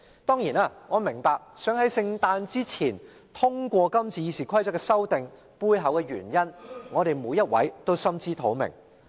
當然，我明白要在聖誕節前通過今次《議事規則》修訂的背後原因，而我們每人也心知肚明。